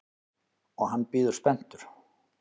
Og hann bíður spenntur.